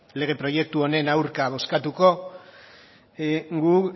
lege proiektu honen aurka bozkatuko gu